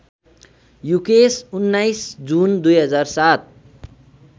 Yukesh १९ June २००७